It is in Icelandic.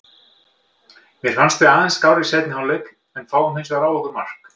Mér fannst við aðeins skárri í seinni hálfleik en fáum hinsvegar á okkur mark.